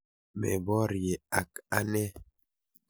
Meborye ak anee.